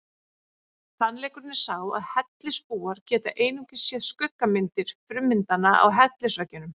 Sannleikurinn er sá að hellisbúar geta einungis séð skuggamyndir frummyndanna á hellisveggjunum.